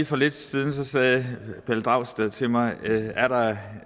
for lidt siden sagde herre pelle dragsted til mig er der